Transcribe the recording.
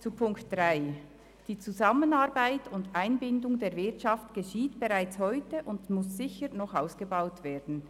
Zu Ziffer 3: Die Zusammenarbeit mit der Wirtschaft und deren Einbindung geschieht bereits heute und muss sicher noch ausgebaut werden.